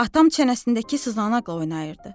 Atam çənəsindəki sızanaqla oynayırdı.